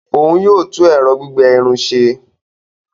Òún yóò tún ẹrọ gbigbẹ Irun ṣe